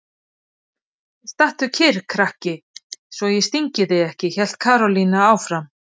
Stattu kyrr krakki svo ég stingi þig ekki! hélt Karólína áfram.